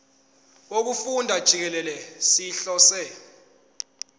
wokufunda jikelele sihlose